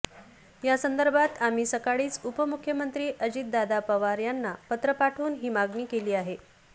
यासंदर्भात आम्ही सकाळीच उपमुख्यमंत्री अजितदादा पवार यांना पत्र पाठवून ही मागणी केली आहे